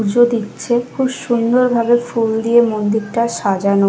পুজো দিচ্ছে খুব সুন্দর ভাবে ফুল দিয়ে মন্দিরটা সাজানো।